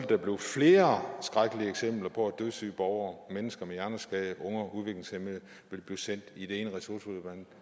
der blive flere skrækkelige eksempler på at dødssyge borgere mennesker med hjerneskade og unge udviklingshæmmede bliver sendt i det ene ressourceforløb